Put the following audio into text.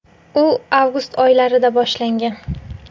U avgust oylarida boshlangan.